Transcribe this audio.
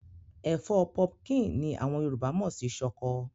Ẹ̀fọ́ pumpkin ni àwọn Yorùbá mọ̀ sí ṣọkọ.